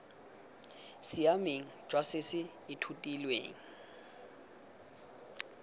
siameng jwa se se ithutilweng